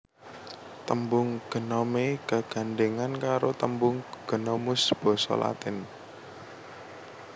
Tembung gnome gegandhèngan karo tembung gnomus basa Latin